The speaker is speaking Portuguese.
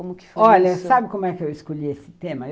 Como que foi. Olha, sabe como é que eu escolhi esse tema?